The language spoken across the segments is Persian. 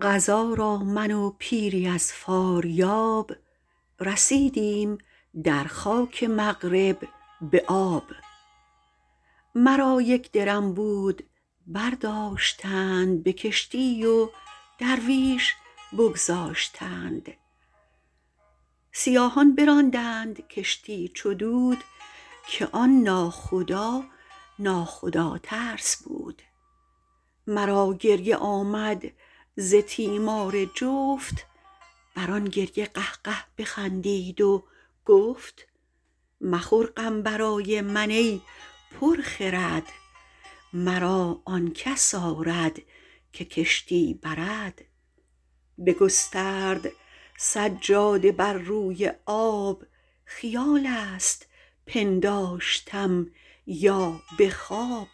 قضا را من و پیری از فاریاب رسیدیم در خاک مغرب به آب مرا یک درم بود برداشتند به کشتی و درویش بگذاشتند سیاهان براندند کشتی چو دود که آن ناخدا نا خدا ترس بود مرا گریه آمد ز تیمار جفت بر آن گریه قهقه بخندید و گفت مخور غم برای من ای پر خرد مرا آن کس آرد که کشتی برد بگسترد سجاده بر روی آب خیال است پنداشتم یا به خواب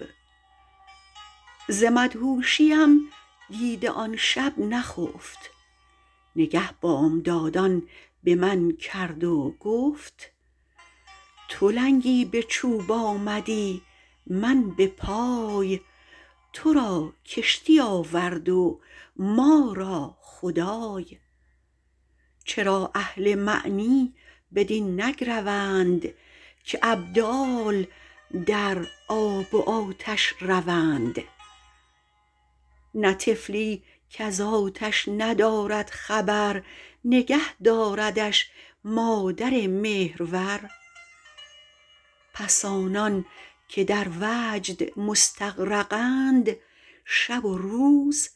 ز مدهوشیم دیده آن شب نخفت نگه بامدادان به من کرد و گفت تو لنگی به چوب آمدی من به پای تو را کشتی آورد و ما را خدای چرا اهل معنی بدین نگروند که ابدال در آب و آتش روند نه طفلی کز آتش ندارد خبر نگه داردش مادر مهرور پس آنان که در وجد مستغرقند شب و روز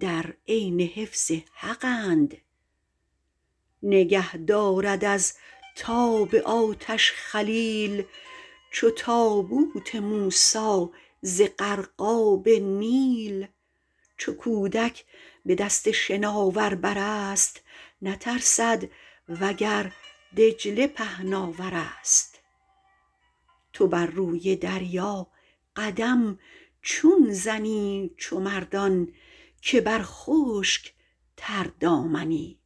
در عین حفظ حقند نگه دارد از تاب آتش خلیل چو تابوت موسی ز غرقاب نیل چو کودک به دست شناور برست نترسد وگر دجله پهناورست تو بر روی دریا قدم چون زنی چو مردان که بر خشک تردامنی